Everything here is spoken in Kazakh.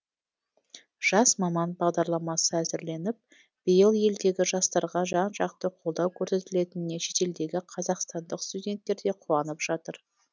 жас маман бағдарламасы әзірленіп биыл елдегі жастарға жан жақты қолдау көрсетілетініне шетелдегі қазақстандық студенттер де қуанып жатыр